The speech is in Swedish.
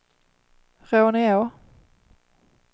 Råneå